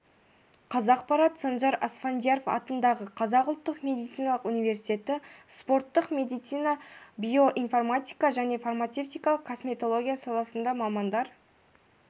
қазақпарат санжар асфендияров атындағы қазақ ұлттық медициналық университеті спорттық медицина биоинформатика және фармацевтикалық косметология саласында мамандар